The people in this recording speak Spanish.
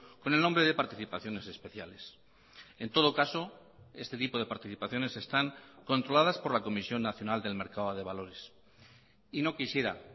con el nombre de participaciones especiales en todo caso este tipo de participaciones están controladas por la comisión nacional del mercado de valores y no quisiera